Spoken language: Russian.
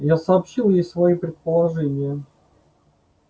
я сообщил ей свои предположения